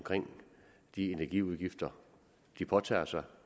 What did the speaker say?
de energiudgifter de påtager sig